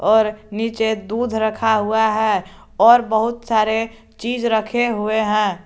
और नीचे दूध रखा हुआ है और बहुत सारे चीज रखे हुए हैं।